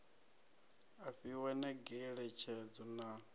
a fhiwa na ngeletshedzo na